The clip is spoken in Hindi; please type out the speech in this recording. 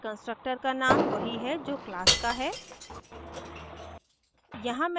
constructor का name वही है जो class का है